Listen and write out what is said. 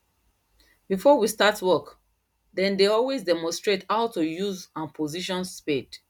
before we start work then dey always demonstrate how to use and position spade